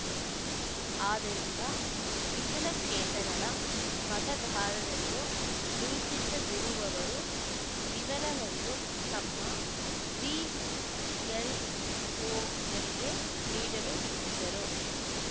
ಆದ್ದರಿಂದ ವಿಕಲಚೇತನರ ಮತದಾರರೆಂದು ಗುರುತಿಸದಿರುವವರು ವಿವರವನ್ನು ತಮ್ಮ ಬಿಎಲ್‌ಒಗಳಿಗೆ ನೀಡಲು ತಿಳಿಸಿದರು